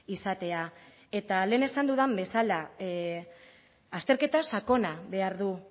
izatea eta lehen esan dudan bezala azterketa sakona behar du